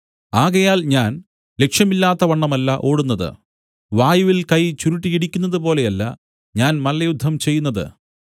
ആകയാൽ ഞാൻ ലക്ഷ്യമില്ലാത്തവണ്ണമല്ല ഓടുന്നത് വായുവിൽ കൈ ചുരുട്ടി ഇടിക്കുന്നതുപോലെയല്ല ഞാൻ മല്ലയുദ്ധം ചെയ്യുന്നത്